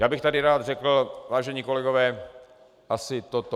Já bych tady rád řekl, vážení kolegové, asi toto.